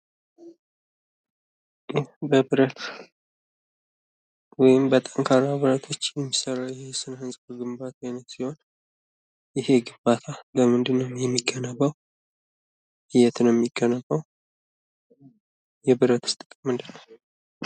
ይህ በብረት ወይም በጠንካራ ብረቶች የሚሰራ የስነህንጻ ግንባታ አይነት ሲሆን ፤ ይሄ ግንባታ በምንድን ነው የሚገነባው ? የት ነው የሚገነባው? የብረትስ ጥቅም ምንድን ነው?